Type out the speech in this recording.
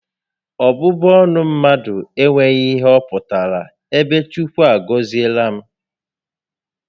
Ọbụbụ ọnụ mmadụ enweghị ihe ọ pụtara ebe Chukwu a gọziela m